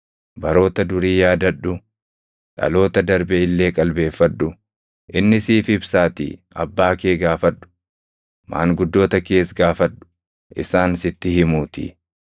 Baroota durii yaadadhu; dhaloota darbe illee qalbeeffadhu. Inni siif ibsaatii abbaa kee gaafadhu; maanguddoota kees gaafadhu; isaan sitti himuutii.